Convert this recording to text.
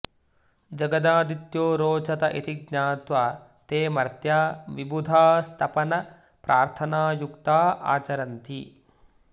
जगदादित्यो रोचत इति ज्ञात्वा ते मर्त्या विबुधास्तपन प्रार्थनायुक्ता आचरन्ति